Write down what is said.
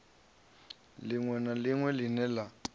liṅwe na liṅwe line la